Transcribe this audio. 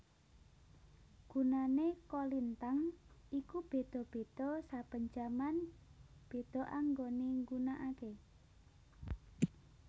Gunane kolintang iku beda beda saben jaman beda anggone nggunakake